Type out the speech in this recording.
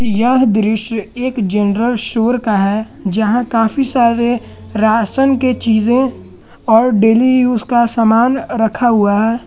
यह दृश्य एक जनरल स्टोर का है जहां काफी सारे राशन के चीजे और डेली यूज का सामान रखा हुआ है।